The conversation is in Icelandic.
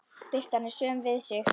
Birtan er söm við sig.